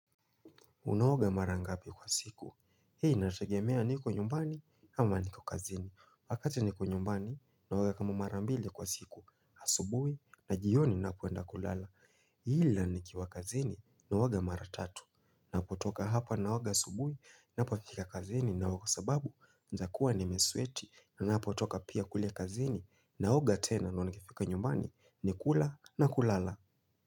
Unaoga mara ngapi kwa siku. Hi inategemea niko nyumbani ama niko kazini. Wakati niko nyumbani naoga kama mara mbili kwa siku. Asubui na jioni napoenda kulala. Ila nikiwa kazini naoga mara tatu. Na kutoka hapo naoga asubui napofika kazini naoga sababu naezakuwa nimesweti na napotoka pia kule kazini naoga tena ndio nikifika nyumbani ni kula na kulala.